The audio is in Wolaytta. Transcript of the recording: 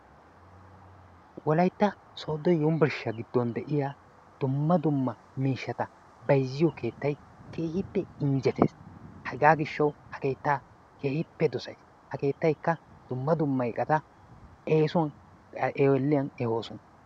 Wolaytta sodo yunburshishiya gido de'iya dumma dumma miishshata bayzziyo keettay keehiippe injetees. Hagaa gishshawu ha keetta keehiipe dosays. Ha keettaykka dumma dumma iqata eesuwan qaxioliyan ehoosona.